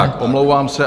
Tak, omlouvám se.